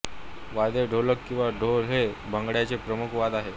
वाद्ये ढोलक किंवा ढोल हे भांगड्याचे प्रमुख वाद्य आहे